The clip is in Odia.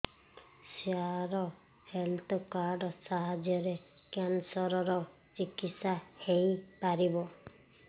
ସାର ହେଲ୍ଥ କାର୍ଡ ସାହାଯ୍ୟରେ କ୍ୟାନ୍ସର ର ଚିକିତ୍ସା ହେଇପାରିବ